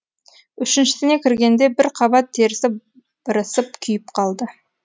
үшіншісіне кіргенде бір қабат терісі бырысып күйіп қалды